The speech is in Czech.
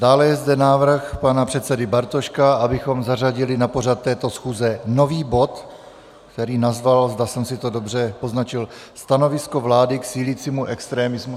Dále je zde návrh pana předsedy Bartoška, abychom zařadili na pořad této schůze nový bod, který nazval, zdali jsem si to dobře poznačil, Stanovisko vlády k sílícímu extremismu...